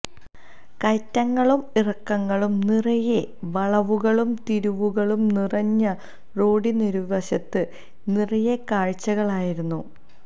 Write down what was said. കയറ്റങ്ങളും ഇറക്കങ്ങളും നിറയെ വളവുകളും തിരിവുകളും നിറഞ്ഞ റോഡിനിരുവശവും നിറയെ കാഴ്ചകളായിരുന്നു